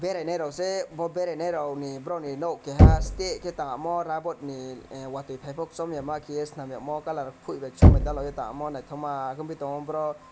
beraina rokse bo berainai rok ni borok ni nog keha astekhe tangmo rabbot ni ahh watui paipo chongya ma keyoe chempiye colour poi bai kolom dalugoi ta naitokmaa khe nogpi tango borok.